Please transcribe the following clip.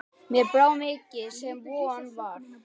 Mér brá mikið sem von var.